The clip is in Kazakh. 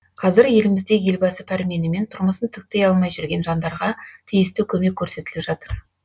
қазір елімізде елбасы пәрменімен тұрмысын тіктей алмай жүрген жандарға тиісті көмек көрсетіліп жатыр